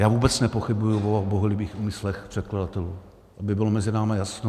Já vůbec nepochybuji o bohulibých úmyslech předkladatelů, aby bylo mezi námi jasno.